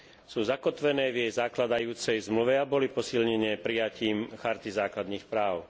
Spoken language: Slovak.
Sú zakotvené v jej zakladajúcej zmluve a boli posilnené prijatím Charty základných práv.